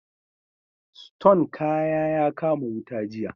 Siton kaya ya kama wuta jiya